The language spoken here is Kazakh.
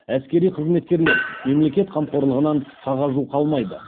әскери қызметкерлер мемлекет қамқорлығынан қағажу қалмайды